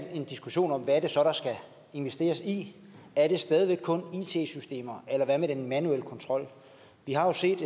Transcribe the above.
en diskussion om hvad det så er der skal investeres i er det stadig væk kun it systemer eller hvad med den manuelle kontrol vi har jo set